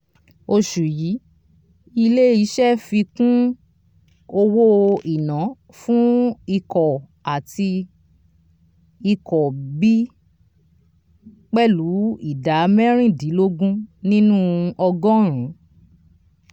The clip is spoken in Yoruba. osù yìí ilé iṣẹ fi kún owó iná fún ikọ a àti ikọ b pẹlu ìdá merindinlogun nínú ọgọ́ọ̀rún.